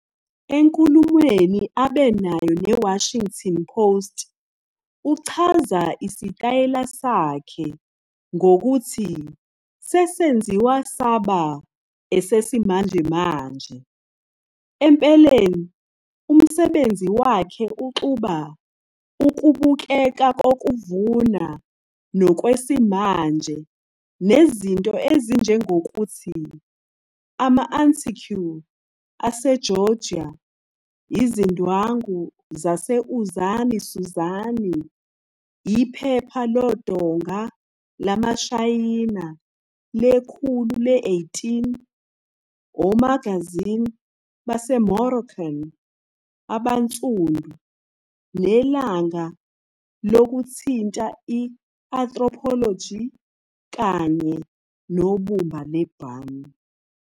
Enkulumweni abe nayo neWashington Post, uchaza isitayela sakhe ngokuthi "sesenziwe saba sesimanjemanje", empeleni, umsebenzi wakhe uxuba ukubukeka kokuvuna nokwesimanje nezinto ezinjengokuthi "Ama-antique aseGeorgia, izindwangu zase-Uzani suzani, iphepha lodonga lamaShayina lekhulu le-18, omagazini baseMoroccan abansundu nelanga lokuthinta i-anthropology kanye nobumba lweBarn.